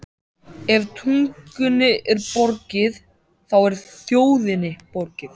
Ef tungunni er borgið, þá er þjóðinni borgið.